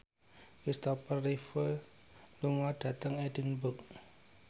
Christopher Reeve lunga dhateng Edinburgh